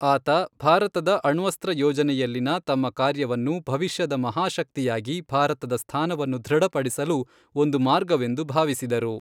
ಆತ ಭಾರತದ ಅಣ್ವಸ್ತ್ರ ಯೋಜನೆಯಲ್ಲಿನ ತಮ್ಮ ಕಾರ್ಯವನ್ನು ಭವಿಷ್ಯದ ಮಹಾಶಕ್ತಿಯಾಗಿ ಭಾರತದ ಸ್ಥಾನವನ್ನು ದೃಢಪಡಿಸಲು ಒಂದು ಮಾರ್ಗವೆಂದು ಭಾವಿಸಿದರು.